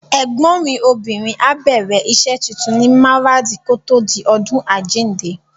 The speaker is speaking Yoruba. Ẹ̀gbọ́n mi obìnrin á bẹ̀rẹ̀ rẹ̀ iṣẹ́ tuntun ní Maradi kòtò di ọdún àjíǹde.